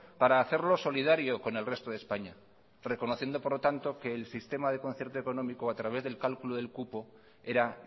para hacerlo solidario con el resto de españa reconociendo por lo tanto que el sistema de concierto económico a través del cálculo del cupo era